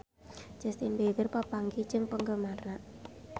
Justin Beiber papanggih jeung penggemarna